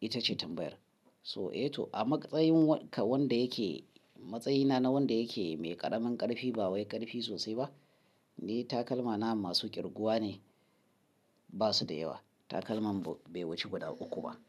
Ita ce tambayar. So eh to a matsayin wanda yake, matsayina na wanda yake mai ƙaramin ƙarfi ba wai ƙarfi sosai ba, ni takalma na masu kirguwa ne, ba su da yawa. Takalman bai wuce guda uku ba.